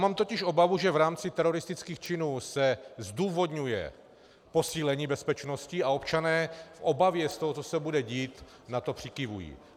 Mám totiž obavu, že v rámci teroristických činů se zdůvodňuje posílení bezpečnosti, a občané v obavě z toho, co se bude dít, na to přikyvují.